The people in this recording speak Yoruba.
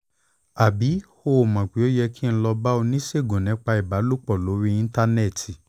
àbí o ò mọ̀ pé ó yẹ kí n lọ bá oníṣègùn nípa ìbálòpọ̀ lórí íńtánẹ́ẹ̀tì?